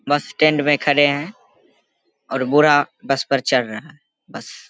बस स्टैंड में खड़े है और बूढ़ा बस पर चढ़ रहा है। बस --